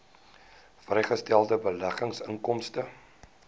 vrygestelde beleggingsinkomste